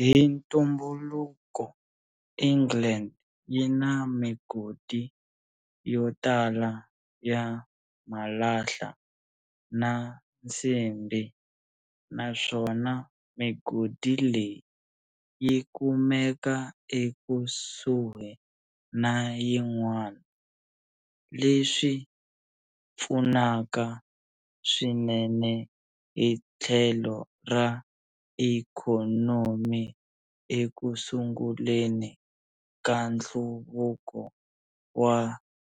Hi ntumbuluko, England yina migodi yotala ya malahla na nsimbi naswona migodi leyi yi kumeka ekusuhi na yin'wana, leswi pfunaka swinene hi tlhelo ra ikhonomi ekusunguleni ka nhluvuko wa